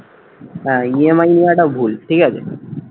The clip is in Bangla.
হ্যাঁ EMI নেয়াটা ভুল ঠিক আছে